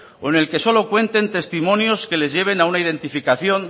o en el que solo cuenten testimonios que les lleven a una identificación